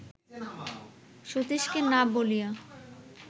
সতীশকে না বলিয়া